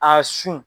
A sun